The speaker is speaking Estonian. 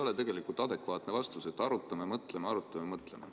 Sest see ei ole adekvaatne vastus, et arutame, mõtleme, arutame, mõtleme.